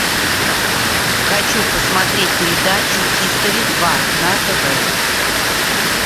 хочу посмотреть передачу хистори два на тв